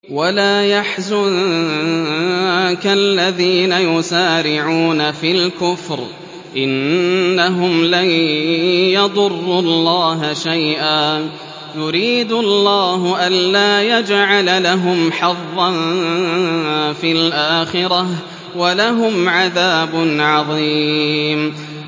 وَلَا يَحْزُنكَ الَّذِينَ يُسَارِعُونَ فِي الْكُفْرِ ۚ إِنَّهُمْ لَن يَضُرُّوا اللَّهَ شَيْئًا ۗ يُرِيدُ اللَّهُ أَلَّا يَجْعَلَ لَهُمْ حَظًّا فِي الْآخِرَةِ ۖ وَلَهُمْ عَذَابٌ عَظِيمٌ